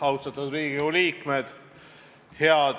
Austatud Riigikogu liikmed!